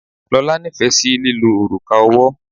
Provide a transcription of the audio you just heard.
Lola nífẹ̀ẹ́ sí lílo òrùka ọwọ́.